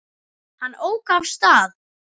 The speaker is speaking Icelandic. Hann ók af stað.